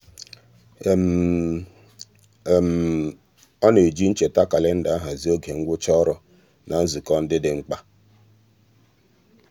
ọ na-eji ncheta kalenda ahazi oge ngwụcha ọrụ na nzukọ ndị dị mkpa.